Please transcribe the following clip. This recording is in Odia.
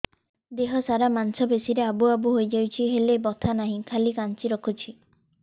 ଦେହ ସାରା ମାଂସ ପେଷି ରେ ଆବୁ ଆବୁ ହୋଇଯାଇଛି ହେଲେ ବଥା ନାହିଁ ଖାଲି କାଞ୍ଚି ରଖୁଛି